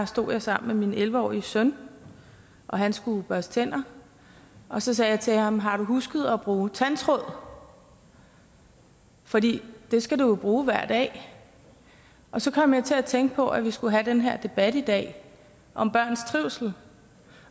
stod jeg sammen med min elleve årige søn han skulle børste tænder og så sagde jeg til ham har du husket at bruge tandtråd fordi det skal du jo bruge hver dag og så kom jeg til at tænke på at vi skulle have den her debat i dag om børns trivsel